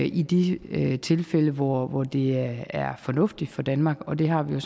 i de tilfælde hvor hvor det er fornuftigt for danmark og det har vi